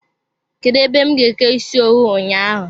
Kedụ ebe m ga-eke ịsị owu ụnyaahụ?